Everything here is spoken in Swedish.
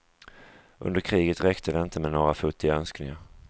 Under kriget räckte det inte med några futtiga önskningar.